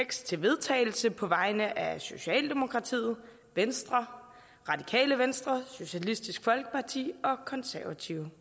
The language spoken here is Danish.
til vedtagelse på vegne af socialdemokratiet venstre radikale venstre socialistisk folkeparti og konservative